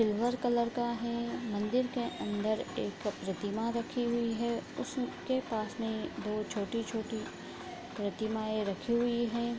Silver colour का है मंदिर के अंदर एक प्रतिमा रखी हुईं है उसके पास में दो छोटी-छोटी प्रतिमाएं रखी हुई हैं।